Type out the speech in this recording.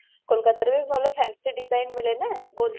କୋଲକାତାରେ ବି ଭଲ fancy design ମିଳେ ନା gold ର